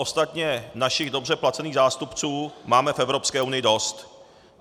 Ostatně našich dobře placených zástupců máme v Evropské unii dost.